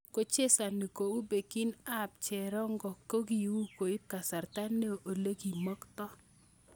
Kochesoni kou Bekin ab cherongo kokiui koib kasarta neo olekimokto.